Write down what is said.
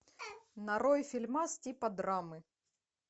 нарой фильмас типа драмы